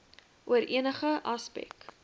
oor enige aspek